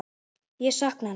Ég sakna hennar.